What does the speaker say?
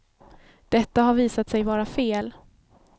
Detta har visat sig vara fel.